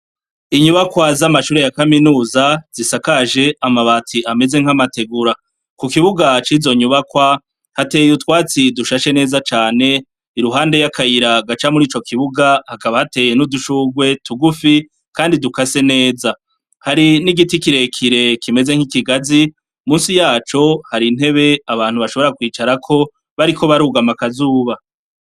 Inyubakwa z'amashure ya kaminuza, zisakaje amabati ameze nk'amategura. Ku kibuga cizo nyubakwa, hateye utwatsi dushashe neza cane, iruhande ya kayira haca mu kibuga, hakaba hateye n'udushurwe tugufi, kandi dukase neza. Hari n'igiti kirekire kimeze nk'ikigazi, munsi yaco, hari intebe abantu bashobora kwicarako bariko barugama akazuba.